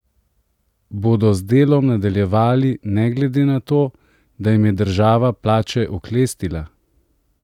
Bodo z delom nadaljevali ne glede na to, da jim je država plače oklestila?